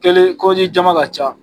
Kelen kodi jama ka ca